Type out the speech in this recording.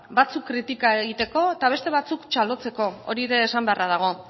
batzuk kritika egiteko eta beste batzuk hori ere esan beharra dago